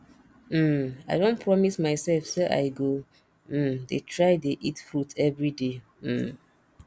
um i don promise myself say i go um dey try dey eat fruit everyday um